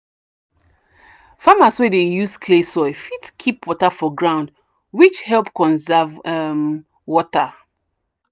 farmers wey dey use clay soil fit keep water for ground which help conserve um water.